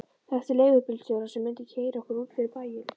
Þekkti leigubílstjóra sem mundi keyra okkur út fyrir bæinn.